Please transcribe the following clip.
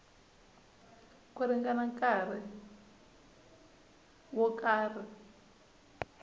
ku ringana nkarhi wo karhi